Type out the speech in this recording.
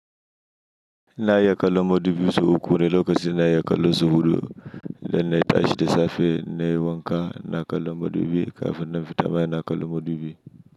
Na iya kalan madubi so uku wane lokacin na ya kalan zuhuɗo idan na tashi da safe na yi wanka, na kalan madubi kafin na fita mai na kalan madubi.